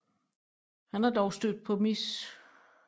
Han er dog stødt på Mrs